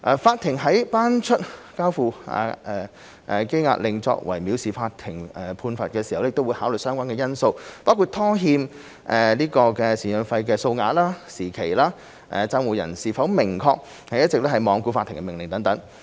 法庭在頒出交付羈押令作為藐視法庭的判罰時，會考慮相關因素，包括拖欠贍養費的數額、拖欠時期、判定債務人是否明顯是一直罔顧法庭的命令。